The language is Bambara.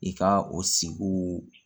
I ka o sigiw